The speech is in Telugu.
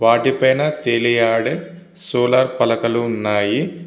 వాటి పైన తేలియాడే సోలార్ పలకలు ఉన్నాయి.